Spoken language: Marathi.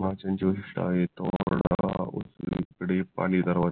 बाजूंच्या स्थित आहेत उजवीकडे पाणी दरवाजा